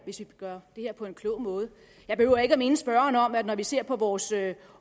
hvis vi kan gøre det her på en klog måde jeg behøver ikke at minde spørgeren om at når vi ser på vores